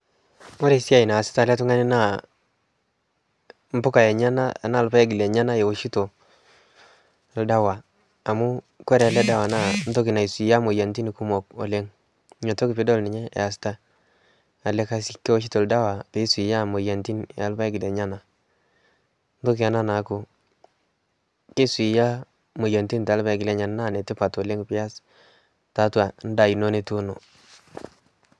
Ore esia naasita ele tungani naa impuka enyana anaa irpayek lenyanaewoshito oldawa amuu ore eledawa naa keisaidia aisuia imoyiaritin kumok oleng. Niaku ninye easita, kewoshito ildawa oee eret toomoyiaritin oorpayek lenyana. Entoki ena naaku keisuia imoyiaritin tiatua ilpayek lenyenak naa enetipat pias tiatu endaa ino nituuno